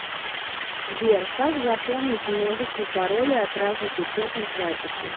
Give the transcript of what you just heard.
сбер как запомнить множество паролей от разных учетных записей